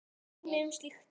Dæmi um slíkt er